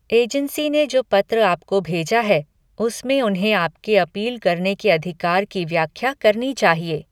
Agency ने जो पत्र आपको भेजा है, उसमें उन्हें आपके अपील करने के अधिकार की व्याख्या करनी चाहिए।